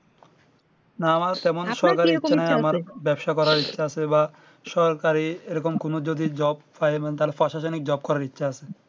না মানে সমান সরকারি ব্যবসা করার ইচ্ছে আছে বা সরকারি এরকম কোনো যদি job পায় মানে তাহলে প্রশাসনিক jobe করার ইচ্ছে আছে